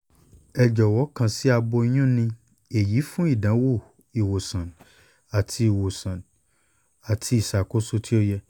ẹ jọwọ kan si aboyun ni eyi fun idanwo iwosan ati iwosan ati iṣakoso ti o yẹ